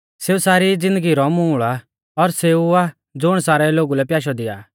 सेऊ सारी ज़िन्दगी रौ मूल़ आ और सेऊ आ ज़ुण सारै लोगु लै प्याशौ दिआ आ